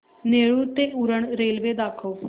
नेरूळ ते उरण रेल्वे दाखव